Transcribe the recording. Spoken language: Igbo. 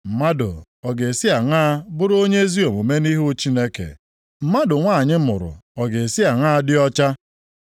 Mmadụ ọ ga-esi aṅaa bụrụ onye ezi omume nʼihu Chineke? Mmadụ nwanyị mụrụ ọ ga-esi aṅaa dị ọcha?